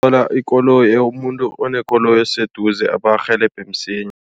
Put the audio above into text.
Thola ikoloyi, umuntu onekoloyi abarhelebhe msinya.